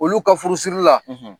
Olu ka furu siri la